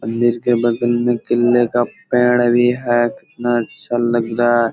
मन्दिर के बगल में केले का पेड़ भी है कितना अच्छा लग रहा है। .